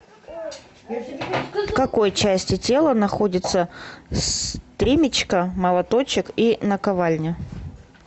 в какой части тела находится стремечко молоточек и наковальня